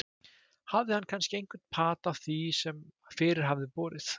Hafði hann kannski einhvern pata af því sem fyrir hafði borið?